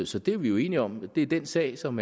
så det er vi jo enige om altså at det er den sag som